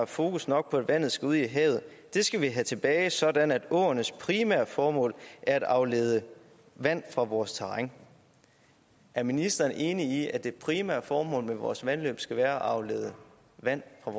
fokus nok på at vandet skal ud i havet det skal vi have tilbage sådan at åernes primære formål er at aflede vand fra vores terræn er ministeren enig i at det primære formål med vores vandløb skal være at aflede vand fra